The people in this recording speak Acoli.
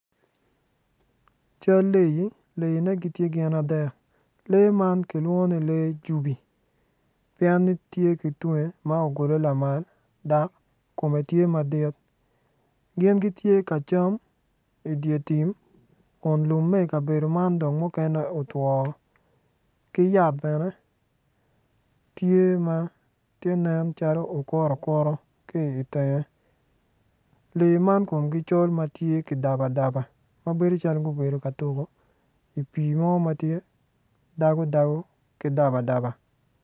Cal leei, leeine tye gin adek lee man kilwongo ni lee cubi pien ni tye ki tunge ma ogulu lamal kome tye madit gin gitye ka cam I dye tim Kun lumme mukene otwoo ki yat bene tye nen calo okutu ki itenge lee man komgi col mubedo daba daba ma bedo calo gubedo ka tuku ipii mo ma dago dago ki daba daba